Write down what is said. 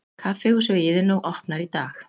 Kaffihúsið í Iðnó opnar í dag